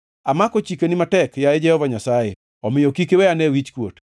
Amako chikeni matek, yaye Jehova Nyasaye, omiyo kik iwe ane wichkuot.